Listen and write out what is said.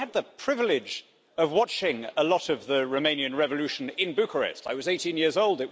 I had the privilege of watching a lot of the Romanian revolution in Bucharest. I was 18 years old.